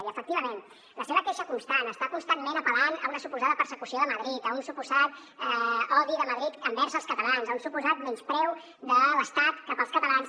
i efectivament la seva queixa constant està constantment apel·lant a una suposada persecució de madrid a un suposat odi de madrid envers els catalans a un suposat menyspreu de l’estat cap als catalans